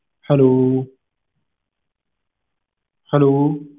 hello hello